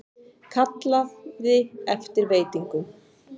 Kallaði eftir veitingum.